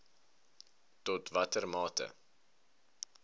tot watter mate